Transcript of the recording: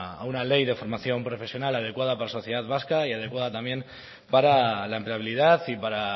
a una ley de formación profesional adecuada para la sociedad vasca y adecuada también para la empleabilidad y para